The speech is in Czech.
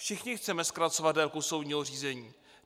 Všichni chceme zkracovat délku soudního řízení.